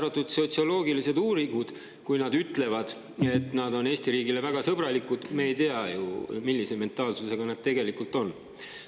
Kui nad sotsioloogilistes uuringutes ka ütlevad, et nad on Eesti riigi suhtes väga sõbralikud, siis me ei tea ju, millise mentaalsusega nad tegelikult on.